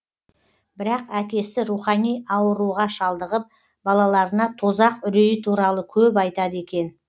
бірақ әкесі рухани ауыруға шалдығып балаларына тозақ үрейі туралы көп айтады екен